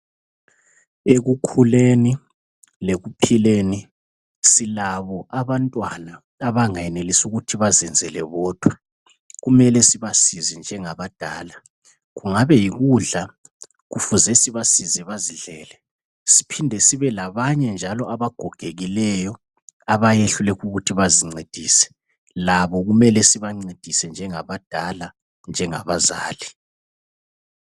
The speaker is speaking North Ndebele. Ekukhuleni lekuphileni silabo abantwana abangenelisiyo ukuthi bazenzele bodwa kumele sibasize njengabadala, kungabe yikudla kufuze sibasize bazidlele siphinde sibelabanye njalo abagogekileyo abayehluleka ukuthi bazincedise labo kumele sibancedise njengabadala njengabazali.